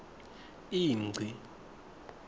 ingci